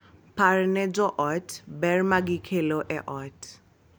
Par ne jo ot ber ma gikelo e ot.